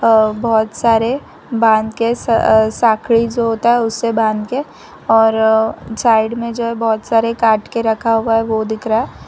अ बहोत सारे बांध के सकडि जो होता है उसे बांध के और साइड में जो है बहोत सारे काट के रखा हुआ है वो दिख रहा है।